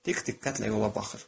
Dik diqqətlə yola baxır.